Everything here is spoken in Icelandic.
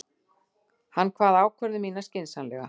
Hann kvað ákvörðun mína skynsamlega.